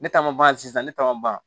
Ne ta ma ban sisan ne ta ma ban